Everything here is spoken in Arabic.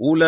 أُولَٰئِكَ